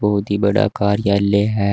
बहुत ही बड़ा कार्यालय है।